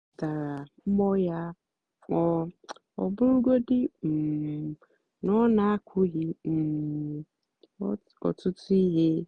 ó kwétárá mbọ́ yá ọ́ ọ́ bụ́rụ́gódị́ um nà ó kwúghị́ um ọ́tụtụ́ íhé.